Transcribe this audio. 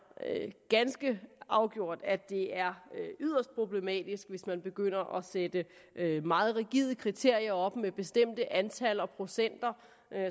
ganske afgjort at det er yderst problematisk hvis man begynder at sætte meget rigide kriterier op med bestemte antal og procenter